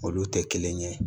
Olu tɛ kelen ye